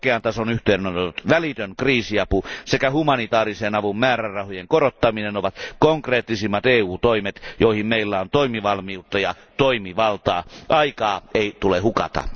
Korkean tason yhteydenotot, välitön kriisiapu sekä humanitaarisen avun määrärahojen korottaminen ovat konkreettisimmat EU toimet, joihin meillä on toimintavalmiutta ja toimivaltaa. Aikaa ei tule hukata!